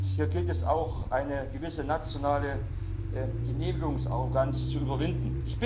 Hier gilt es auch, eine gewisse nationale Genehmigungsarroganz zu überwinden.